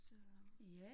Så